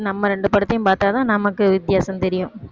நம்ம ரெண்டு படத்தையும் பாத்தாதான் நமக்கு வித்தியாசம் தெரியும்